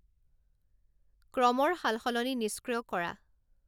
ক্ৰমৰ সালসলনি নিস্ক্ৰিয় কৰা